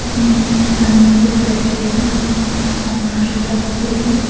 महिला जमीन पर बैठे हुए अपने सामान के साथ दिख रही है।